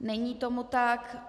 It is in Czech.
Není tomu tak.